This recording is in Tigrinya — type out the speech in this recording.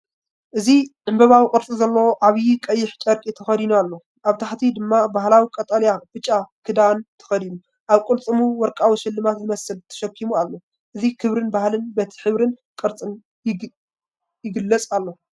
እዚ ዕምባባዊ ቅርጺ ዘለዎ ዓቢይ ቀይሕ ጨርቂ ተኸዲኑ ኣሎ። ኣብ ታሕቲ ድማ ባህላዊ ቀጠልያን ብጫን ክዳን ተኸዲኑ፡ ኣብ ቅልጽሙ ወርቃዊ ስልማት ዝመስል ተሰኪሙ ኣሎ። እዚ ክብሪ ባህሊ በቲ ሕብርን ቅርጽን ይግለጽ ኣሎ።